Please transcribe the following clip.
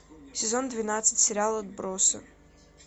сезон двенадцать сериал отбросы